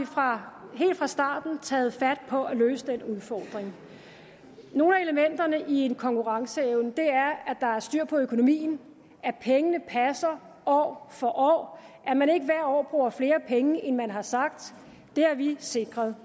fra starten taget fat på at løse den udfordring nogle af elementerne i konkurrenceevnen er at der er styr på økonomien at pengene passer år for år at man ikke hvert år bruger flere penge end man har sagt det har vi sikret